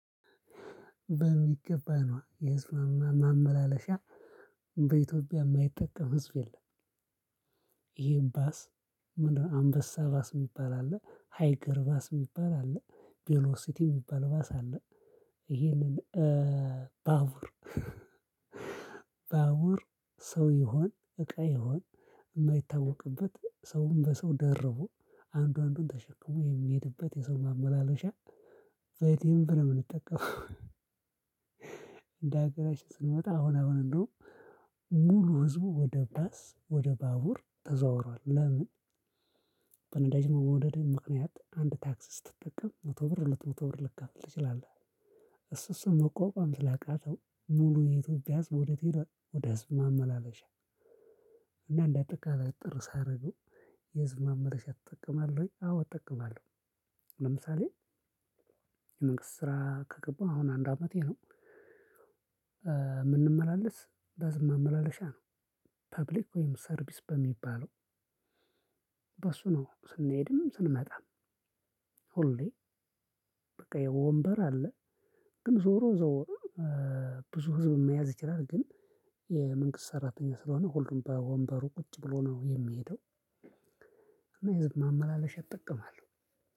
በሚገባ ነዋ የህዝብ ማመላለሻ በኢትዮጵያ የማይጠቀም ህዝብ የለም። ይሄን ባስ ምንድነው? አንበሳ ባስ የሚባል አለ ሃይገር ባስ የሚባል አለ ቬሎሲቲ የሚባል ባስ አለ። ይሄንን ባቡር። ባቡር ሰው ይሁን እቃ ይሁን የማይታወቅበት ሰውን በሰው ደርቦ አንዱ አንዱን ተሸክሞ የሚሄድበት የሰው ማመላለሻ በደንብ ነው የምንጠቀመው። እንደ አገራችን ስንመጣ አሁን አሁን እንደውም ሙሉ ህዝቡ ወደ ባስ ወደ ባቡር ተዘዋውሯል። ለምን? በነዳጅ መወደድ ምክንያት አንድ ታክሲ ስትጠቀም መቶ ብር ሁለት መቶ ብር ልትከፍል ትችላለህ። እሱ እሱን መቋቋም ስላቃተው ሙሉ የኢትዮጵያ ህዝብ ወደ የት ሄዷል? ወደ ህዝብ ማመላለሻ። እና እንደ አጠቃላይ እጥር ሳደርገው የህዝብ ማመለሻ ትጠቀማለህ። ወይ? አዎ እጠቀማለሁ። ለምሳሌ የመንግስት ስራ ከገባው አሁን አንድ አመቴ ነው። የምንመላለስ በህዝብ ማመላለሻ ነው። ፐብሊክ ወይም ሰርቪስ በሚባለው በሱ ነው ስንሄድም ስንመጣም። ሁሌ በቃ የወንበር አለ ግን ዞሮ ዞሮ። ብዙ ህዝብ መያዝ ይችላል። ግን የመንግስት ሰራተኛ ስለሆነ ሁሉም በወንበሩ ቁጭ ብሎ ነው የሚሄደው። እና የህዝብ ማመላለሻ እጠቀማለሁ።